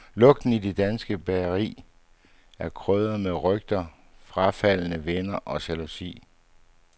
Lugten i det danske bageri er krydret med rygter, frafaldne venner og jalousi.